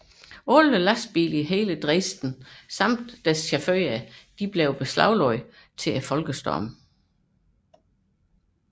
Alle Dresdens lastvogne med chauffører blev beslaglagt til folkestormen